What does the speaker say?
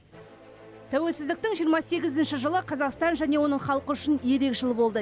тәуелсіздіктің жиырма сегізінші жылы қазақстан және оның халқы үшін ерек жыл болды